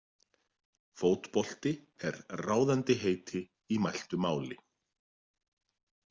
Fótbolti er ráðandi heiti í mæltu máli.